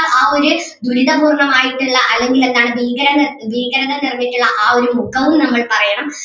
ആ ഒരു ദുരിത പൂർണ്ണം ആയിട്ടുള്ള അല്ലെങ്കിൽ എന്താണ് ഭീകരങ്ങൾ ഭീകരത നിറഞ്ഞിട്ടുള്ള ആ ഒരു ദുഖവും നമ്മൾ പറയണം.